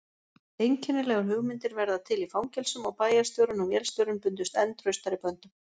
Einkennilegar hugmyndir verða til í fangelsum og bæjarstjórinn og vélstjórinn bundust enn traustari böndum.